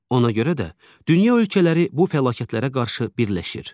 Ona görə də dünya ölkələri bu fəlakətlərə qarşı birləşir.